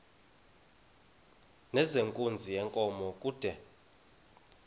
nezenkunzi yenkomo kude